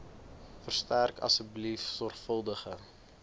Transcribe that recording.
verstrek asseblief sorgvuldige